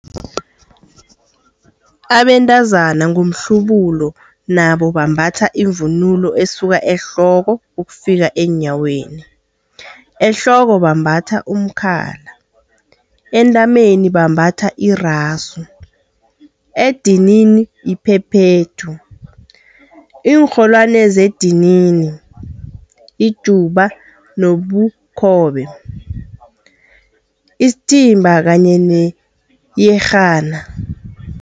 Abentazana ngomhlubulo nabo bambatha ivunulo esuka ehloko ukufika eenyaweni. ehloko bambatha umkhala, entameni bambatha irasu, edinini iphephethu, iinrholwani zedinini, ijuba nobukhobe, isithimba kanye neyerhana.